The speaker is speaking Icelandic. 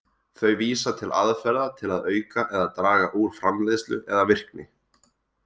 Þau vísa til aðferða til að auka eða draga úr framleiðslu eða virkni.